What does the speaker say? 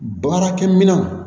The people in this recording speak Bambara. Baarakɛminɛnw